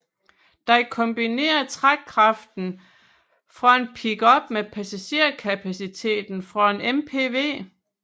Den kombinerer trækkraften fra en pickup med passagerkapaciteten fra en MPV